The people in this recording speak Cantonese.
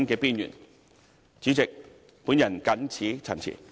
代理主席，我謹此陳辭。